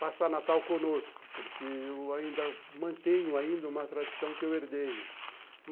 passar Natal conosco, porque eu ainda mantenho ainda uma tradição que eu herdei.